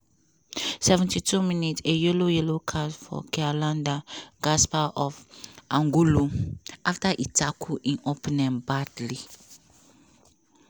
seventy two minute a yellow yellow card for kialanda gaspar of angolo afta e tackle im opponent badly.